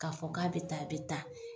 K'a fɔ k'a bɛ tan a bɛ tan,